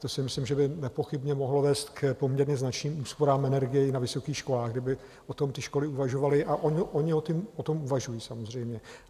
To si myslím, že by nepochybně mohlo vést k poměrně značným úsporám energie i na vysokých školách, kdyby o tom ty školy uvažovaly, a ony o tom uvažují, samozřejmě.